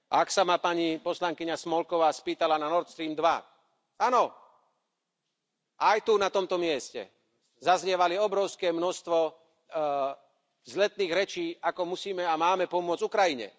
A ak sa ma pani poslankyňa Smolková spýtala na Nord Stream 2 áno, aj tu na tomto mieste zaznievalo obrovské množstvo vzletných rečí, ako musíme a máme pomôcť Ukrajine.